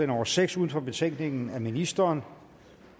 nummer seks uden for betænkningen af ministeren